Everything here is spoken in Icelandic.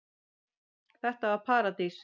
Þetta var paradís.